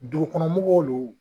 Dugukɔnɔmɔgɔw lon wo.